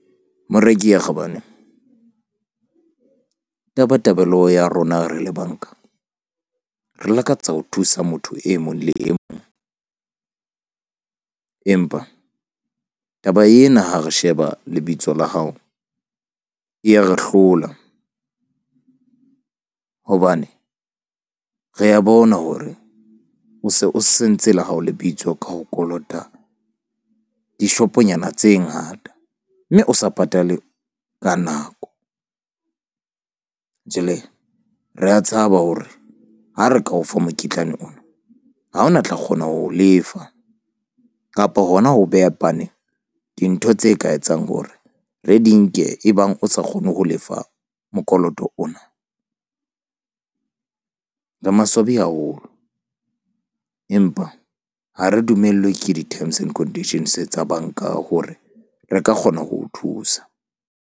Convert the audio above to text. Moreki ya kgabane tabatabelo ya rona re le banka re lakatsa ho thusa motho e mong le e mong empa taba ena ha re sheba lebitso la hao e ya re hlola hobane re a bona hore o se o sentse la hao lebitso ka ho kolota dishoponyana tse ngata. Mme o sa patale ka nako. Jwale re a tshaba hore ha re ka o fa mokitlane ona, ha hona tla kgona ho lefa kapa hona ho beha pane dintho tse ka etsang hore re di nke ebang o sa kgone ho lefa mokoloto ona. Re maswabi haholo empa ha re dumellwe ke di-terms and conditions tsa bank-a hore re ka kgona ho o thusa.